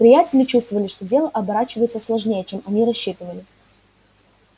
приятели чувствовали что дело оборачивается сложнее чем они рассчитывали